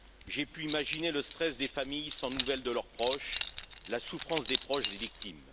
J'ai pu imaginer le stress des familles sans nouvelles de leurs proches, la souffrance des proches des victimes.